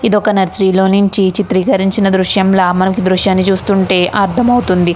ఇదొక నర్సరీ లో నుంచి చిత్రీకరించిన దృశ్యంలా మనకి దృశ్యాన్ని చూస్తుంటే అర్థమవుతుంది.